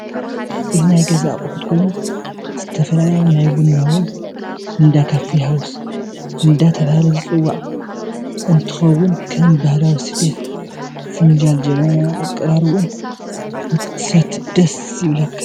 አዚ ናይ ገዛ አቁሑት ኮይኑ ዝተፋላለየ ናይ ቡና ወይ እንዳከፊ ሃውስ እዴተባለሃለ ዝፂዋዕ ኦኝትከውን ከም ባህላዊ ስፈት፣ ፊንጃል፣ ጀበና አቃራሪቡኡ ንክትሰቲ ዴስ ይብለካ ።